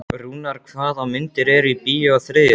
Rúnar, hvaða myndir eru í bíó á þriðjudaginn?